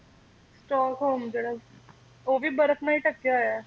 ਸਤੋਕ home ਜਿਹੜਾ ਹੈ ਉਹ ਵੀ ਬਰਫ ਨਾਲ ਹੀ ਢਕਿਆ ਹੋਇਆ ਹੈ